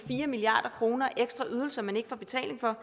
en milliard kr som man ikke får betaling for